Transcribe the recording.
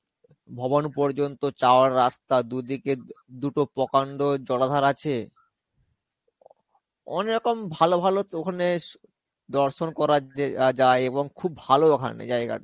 ভবন পর্যন্ত যাওয়ার রাস্তা দুদিকে দু দুটো প্রকান্ড জলাধার আছে. অনেকরকম ভালো ভালো ওখানে দর্শন করা দ~ যায় এবং খুব ভালো ওখানে জায়গাটা.